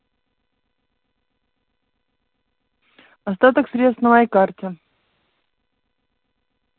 остаток средств на моей карте